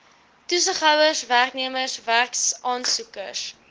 toesighouers werknemers werksaansoekers